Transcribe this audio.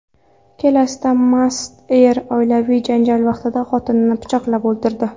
Kelesda mast er oilaviy janjal vaqtida xotinini pichoqlab o‘ldirdi.